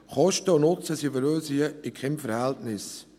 Kosten und Nutzen stehen für uns hier in keinem Verhältnis.